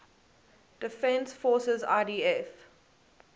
defense forces idf